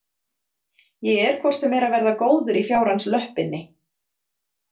Ég er hvort sem er að verða góður í fjárans löppinni.